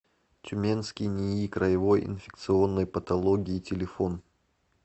тюменский нии краевой инфекционной патологии телефон